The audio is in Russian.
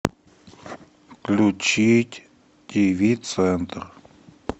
включить тиви центр